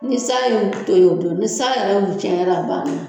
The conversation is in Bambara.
Ni san y'u to yen o don, ni san yɛrɛ y'u tiɲɛ yɛrɛ a ban na.